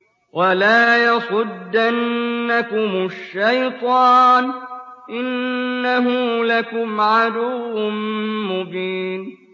وَلَا يَصُدَّنَّكُمُ الشَّيْطَانُ ۖ إِنَّهُ لَكُمْ عَدُوٌّ مُّبِينٌ